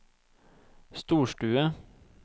storstue